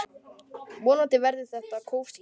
Vonandi verður þetta kósí.